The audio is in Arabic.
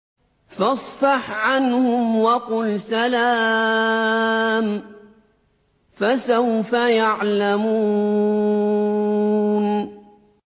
فَاصْفَحْ عَنْهُمْ وَقُلْ سَلَامٌ ۚ فَسَوْفَ يَعْلَمُونَ